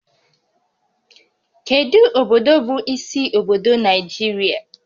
Kedu obodo bụ isi obodo Naijiria?